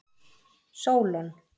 Sólon